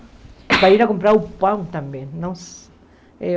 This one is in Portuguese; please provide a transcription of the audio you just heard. Para ir comprar o pão também. Nossa eu